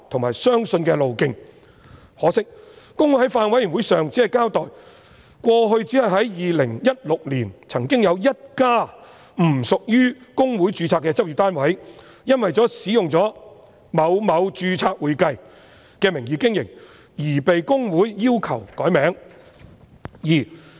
可惜，公會在法案委員會上僅交代，只是在2016年，曾經有一家不屬於公會註冊的執業單位，因為使用了某某註冊會計的名義經營而被公會要求更改名字。